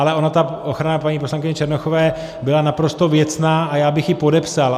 Ale ona ta ochrana paní poslankyně Černochové byla naprosto věcná a já bych ji podepsal.